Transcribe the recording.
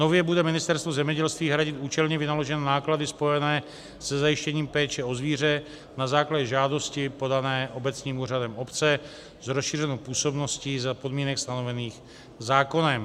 Nově bude Ministerstvo zemědělství hradit účelně vynaložené náklady spojené se zajištěním péče o zvíře na základě žádosti podané obecním úřadem obce s rozšířenou působností za podmínek stanovených zákonem.